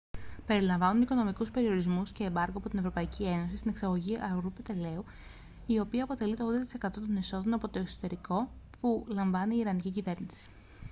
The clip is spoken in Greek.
περιλαμβάνουν οικονομικούς περιορισμούς και εμπάργκο από την ευρωπαϊκή ένωση στην εξαγωγή αργού πετρελαίου η οποία αποτελεί και το 80% των εσόδων από το εξωτερικό που λαμβάνει η ιρανική κυβέρνηση